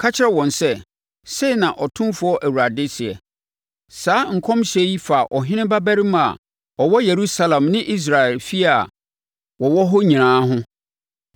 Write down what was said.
“Ka kyerɛ wɔn sɛ, sei na Otumfoɔ Awurade seɛ: Saa nkɔmhyɛ yi fa ɔhene babarima a ɔwɔ Yerusalem ne Israel efie a wɔwɔ hɔ nyinaa ho.